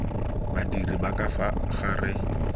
badiri ba ka fa gare